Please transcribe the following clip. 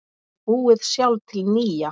Og búið sjálf til nýja.